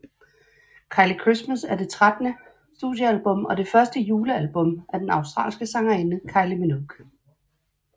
Kylie Christmas er det trettende studiealbum og det første julealbum af den australske sangerinde Kylie Minogue